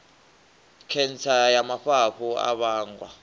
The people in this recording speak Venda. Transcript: khentsa ya mafhafhu a vhangwa